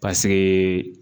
Paseke